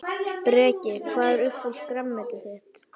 Breki: Hvað er uppáhalds grænmetið þitt?